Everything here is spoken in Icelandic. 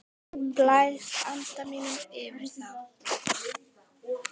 Blæs anda mínum yfir þá.